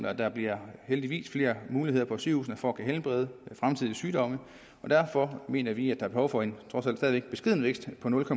at der heldigvis bliver flere muligheder på sygehusene for at kunne helbrede fremtidige sygdomme derfor mener vi at er behov for en trods alt stadig væk beskeden vækst på nul